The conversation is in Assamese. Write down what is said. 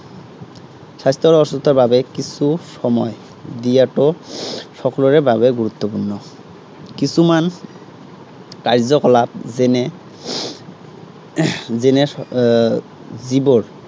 স্বাস্থ্য় আৰু সুস্থতাৰ বাবে কিছু সময় দিয়াটো সকলোৰে বাবে গুৰুত্বপূৰ্ণ। কিছুমান কাৰ্যকলাপ যেনে যেনে, আহ যেনে যিবোৰ